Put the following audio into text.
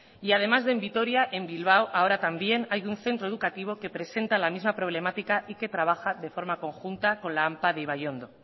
y además de en vitoria en bilbao ahora también hay un centro educativo que presenta la misma problemática y que trabaja de forma conjunta con la ampa de ibaiondo